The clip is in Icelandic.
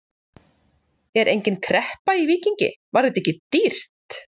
Er engin kreppa í Víkingi, var þetta ekki dýrt?